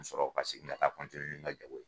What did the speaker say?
Ka sɔrɔ ka segin me ta nin ka jago ye.